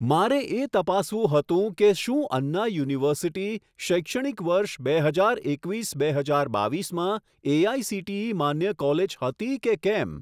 મારે એ તપાસવું હતું કે શું અન્ના યુનિવર્સિટી શૈક્ષણિક વર્ષ બે હજાર એકવીસ બે હજાર બાવીસમાં એઆઇસીટીઈ માન્ય કોલેજ હતી કે કેમ!